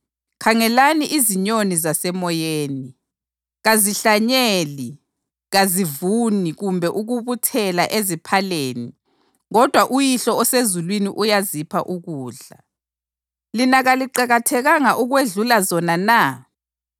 Khangelani izinyoni zasemoyeni; kazihlanyeli, kazivuni kumbe ukubuthela eziphaleni kodwa uYihlo osezulwini uyazipha ukudla. Lina kaliqakathekanga ukwedlula zona na?